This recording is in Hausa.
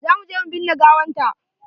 Za mu je mu binne gawanta.